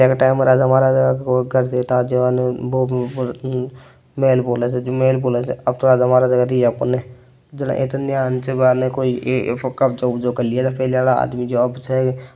ऐ कटे राजा महाराजा का मेहल अब तोह पहली आला रिया कोनी --